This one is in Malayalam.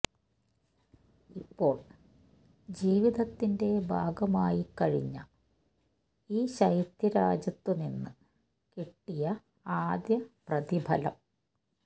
ഇപ്പോൾ ജീവിതത്തിന്റെ ഭാഗമായിക്കഴിഞ്ഞ ഈ ശൈത്യ രാജ്യത്തു നിന്ന് കിട്ടിയ ആദ്യ പ്രതിഫലം